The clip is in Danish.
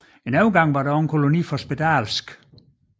En overgang var der også en koloni for spedalske